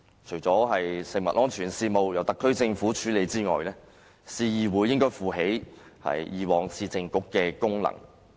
除了食物安全事務由特區政府處理外，市議會應該負起以往市政局的職能。